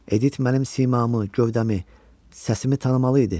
Edit mənim simamı, gövdəmi, səsimi tanımalı idi.